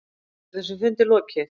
Er þessum fundi lokið?